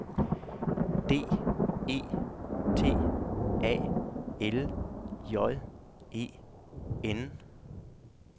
D E T A L J E N